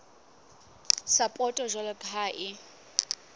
sapoto jwalo ka ha e